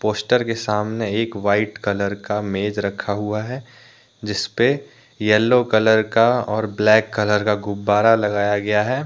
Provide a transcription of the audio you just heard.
Poster के सामने एक वाइट कलर का मेज रखा हुआ है जिसपे यलो कलर का और ब्लैक कलर का गुब्बारा लगाया गया है।